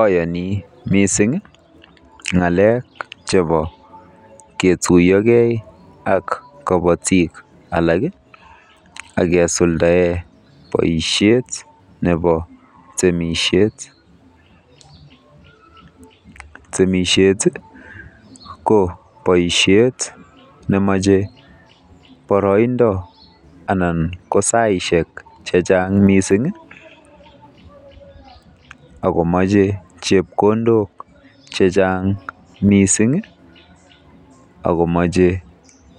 Ayani mising ng'alek chebo ketuiyokei ak kobotik alak akesuldae boisiet nebo temisiet. Temisiet ko boisiet nemache boroindo anan ko saishek chechang mising akomeche chepkondok chechang mising akomache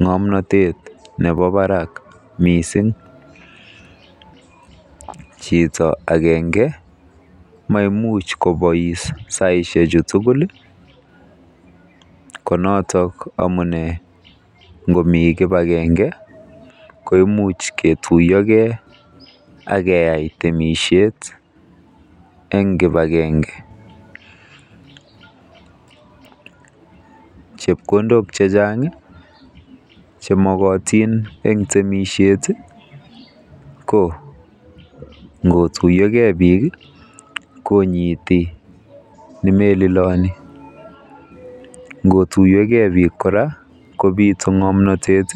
ng'omnotet nebo barak. Chito agenge maimuch kobois saishechu tugul ko notok amune ngomi kibagenge koimuch ketuiyokei akeai temisiet eng kipagenge. Chepkondok chechang che mokotin eng temisiet ko ngotuyokei biik konyiiti nemeliloni. Ngotuyokei biik kora kobiiitu ng'omnotet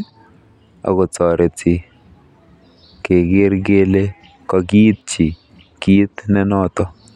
akotoreti keker kele kokiityi kiit ne noto.